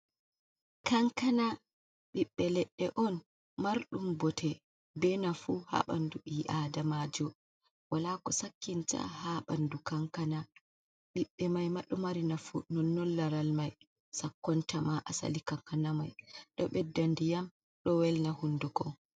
Kankana ɓiɓbe ledde on marɗum bote be nafu ha bandu bi adamajo wala ko sakkinta ha bandu kankana, ɓiɓɓe mai maɗo mari nafu nonnon laral mai, sakkonta ma asali kankana mai do yam do welna hunduko.